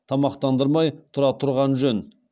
тамақтандырмай тұра тұрған жөн